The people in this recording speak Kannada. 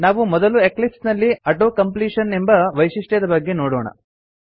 ನಾವು ಮೊದಲು ಎಕ್ಲಿಪ್ಸ್ ನಲ್ಲಿ ಆಟೋ ಕಂಪ್ಲೀಷನ್ ಎಂಬ ವೈಶಿಷ್ಟ್ಯದ ಬಗ್ಗೆ ನೋಡೋಣ